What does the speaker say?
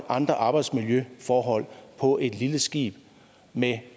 andre arbejdsmiljøforhold på et lille skib med